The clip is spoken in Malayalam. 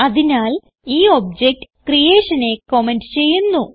അതിനാൽ ഈ ഒബ്ജക്ട് creationനെ കമന്റ് ചെയ്യുന്നു